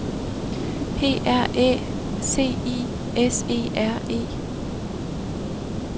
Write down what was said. P R Æ C I S E R E